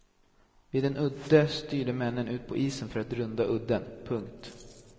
Vid en udde styrde männen ut på isen för att runda udden. punkt